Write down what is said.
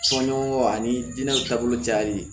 Soɲɔgɔn ani diinɛ taabolo cayali